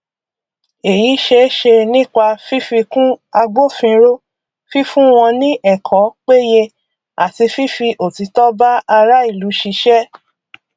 èyí ṣeeṣe nípa fífikun agbófinró fífun wọn ní ẹkọ péye àti fífi òtítọ bá ará ìlú ṣiṣẹ